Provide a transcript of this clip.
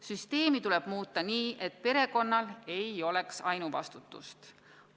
Süsteemi tuleb muuta nii, et perekonnal ei oleks ainuvastutust.